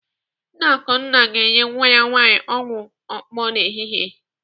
Nne Akunwa ga-enye nwa ya nwaanyị ọgwụ okpo n'ehihie.